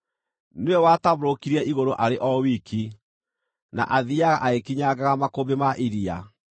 Nĩwe watambũrũkirie igũrũ arĩ o wiki, na athiiaga agĩkinyangaga makũmbĩ ma iria.